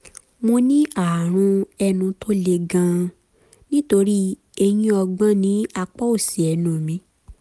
mo ní ààrùn ẹnu tó le gan-an nítorí eyín ọgbọ́n ní apá òsì ẹnu mi